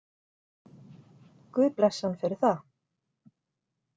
Guð blessi hann fyrir það.